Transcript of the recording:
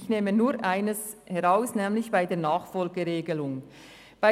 ich greife nur ein Beispiel heraus, das die Nachfolgeregelung betrifft: